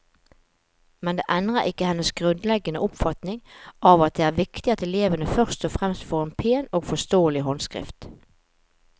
Men det endrer ikke hennes grunnleggende oppfatning av at det er viktig at elevene først og fremst får en pen og forståelig håndskrift.